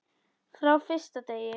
Frá fyrsta degi.